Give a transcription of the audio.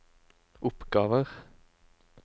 oppgaver